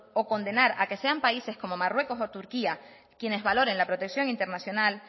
o condenar a que sean países como marruecos o turquía quienes valoren la protección internacional